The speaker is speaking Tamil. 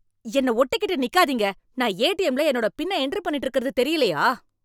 என்னை ஒட்டிக்கிட்டு நிக்காதீங்க! நான் ஏடிஎம்ல என்னோட பின்னை என்டர் பண்ணிட்டு இருக்கறது தெரியலையா?